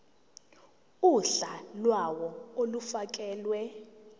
uhla lawo olufakelwe